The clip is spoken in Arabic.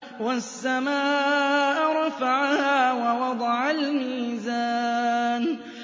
وَالسَّمَاءَ رَفَعَهَا وَوَضَعَ الْمِيزَانَ